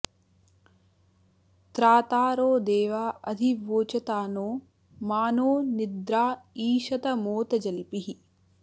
त्रातारो देवा अधि वोचता नो मा नो निद्रा ईशत मोत जल्पिः